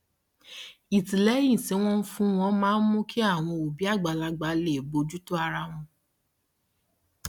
ìtìlẹyìn tí wọn ń fún wọn máa ń mú kí àwọn òbí àgbàlagbà lè dá bójú tó ara wọn